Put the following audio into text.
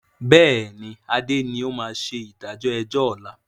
Bẹ́ẹ̀ni adé ni ó máa ṣe ìdájọ́ ẹjọ́ ọ̀la